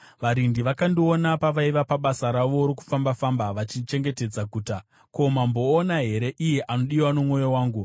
Varindi vakandiona pavaiva pabasa ravo rokufamba-famba vachichengetedza guta. “Ko, mamboona here iye anodiwa nomwoyo wangu?”